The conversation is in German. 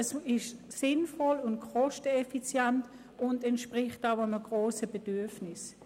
Es ist sinnvoll und kosteneffizient und entspricht auch einem grossen Bedürfnis.